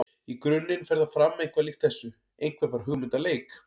Í grunninn fer það fram eitthvað líkt þessu: Einhver fær hugmynd að leik.